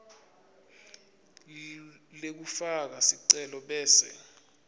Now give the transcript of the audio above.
lekufaka sicelo bese